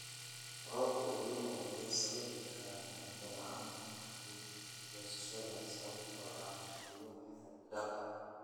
Roobabka El Niño waxay sababi karaan cunto-la'aan ka dib goosashada sababtoo ah biyaha xad dhaafka ah.